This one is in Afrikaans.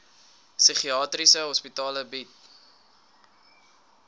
psigiatriese hospitale bied